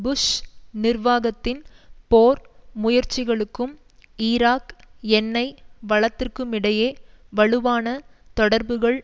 push நிர்வாகத்தின் போர் முயற்சிகளுக்கும் ஈராக் எண்ணெய் வளத்திற்குமிடையே வலுவான தொடர்புகள்